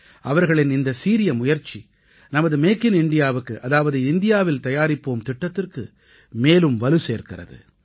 அவர்களின் இந்த சீரிய முயற்சி நமது மேக் இன் இண்டியாவுக்கு அதாவது இந்தியாவில் தயாரிப்போம் திட்டத்திற்கு மேலும் வலுசேர்க்கிறது